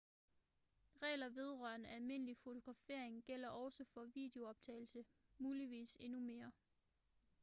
regler vedrørende almindelig fotografering gælder også for videoptagelse muligvis endnu mere